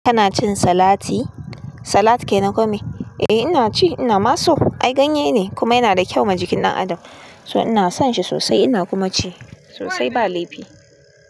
Kana cin salati? Salat kenan ko mai. Eh ina ci, ina ma so. Ai ganye ne kuma yana da kyau ma jikin ɗan adam, so ina son shi sosai ina kuma ci sosai ba laifi.